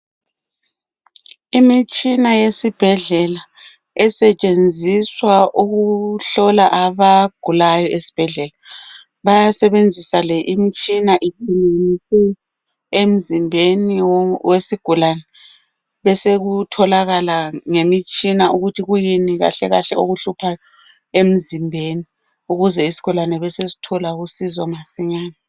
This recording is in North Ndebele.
Imitshina yesibhedlela esetshenziswa ukuhlola abagulayo esibhedlela bayasebenzisa le imitshina emzimbeni wesigulane besekutholakala ngemitshina ukuthi kuyini kahle kahle okuhluphayo emzimbeni ukuze isigulane besesithola kusizo masinyane